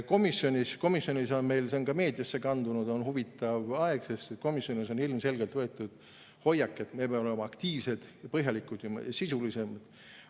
Komisjonis – see on ka meediasse kandunud – on huvitav aeg, sest komisjonis on ilmselgelt võetud hoiak, et me peame olema aktiivsed, põhjalikud ja sisulised.